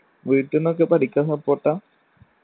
വീട്ടിന്നൊക്കെ പഠിക്കാൻ support ആ